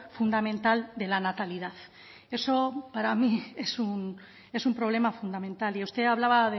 fundamental de la natalidad eso para mí es un problema fundamental y usted hablaba